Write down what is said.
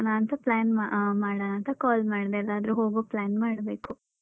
ಅದೇ ಏನ್ ಮಾಡೋಣ ಅಂತ plan ಅಹ್ ಮಾಡೋಣ ಅಂತ call ಮಾಡ್ದೆ ಎಲ್ಲಾದ್ರೂ ಹೋಗೊ plan ಮಾಡ್ಬೇಕು.